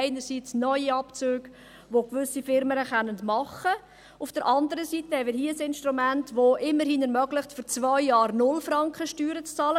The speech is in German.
einerseits Neuabzüge, welche gewisse Unternehmen vornehmen können, andererseits haben wir hier ein Instrument, welches immerhin ermöglicht, für zwei Jahre 0 Franken Steuern zu bezahlen.